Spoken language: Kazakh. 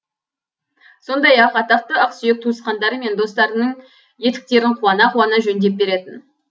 сондай ақ атақты ақсүйек туысқандары мен достарның етіктерін қуана қуана жөндеп беретін